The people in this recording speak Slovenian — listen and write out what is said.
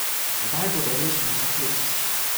Tedaj bodo rešene zakletosti.